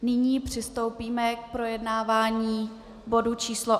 Nyní přistoupíme k projednávání bodu číslo